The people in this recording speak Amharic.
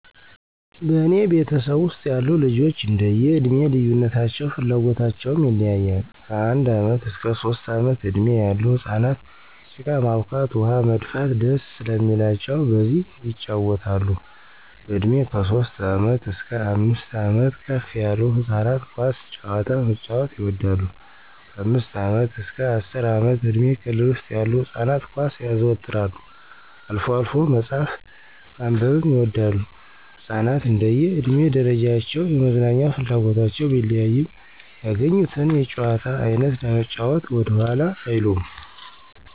በእኔ ቤተሰብ ውስጥ ያሉ ልጆች እንደዬ እድሜ ልዩነታቸው ፍላጎታቸውም ይለያያል። ከአንድ ዓመት እስከ ሦስት ዓመት እድሜ ያሉ ህፃናት ጭቃ ማቡካት፣ ውኃ መድፋት ደስ ስለሚላቸው በዚህ የጫወታሉ፣ በእድሜ ከሦስት ዓመት እስከ አምስት ዓመት ከፍ ያሉት ህፃናት ኳስ ጨዋታ መጫዎት ይወዳሉ፣ ከአምስት ዓመት አስከ አስር ዓመት እድሜ ክልል ውስጥ ያሉ ህፃናት ኳስ ያዘወትራሉ፣ አልፎ አልፎ መጽሐፍ ማንበብም ይወዳሉ። ህፃናት እንደየ እድሜ ደረጃቸው የመዝናኛ ፍላጎታቸው ቢለያይም ያገኙትን የጨዋታ አይነት ለመጫዎት ወደኋላ አይሉም።